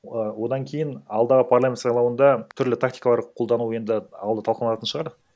і одан кейін алдағы парламент сайлауында түрлі тактикалар қолдану енді алды талқыналатын шығар